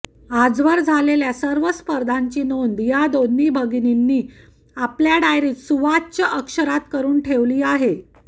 आजवर झालेल्या सर्व स्पर्धांची नोंद या दोन्ही भगिनींनी आपापल्या डायरीत सुवाच्य अक्षरात करून ठेवली आहेत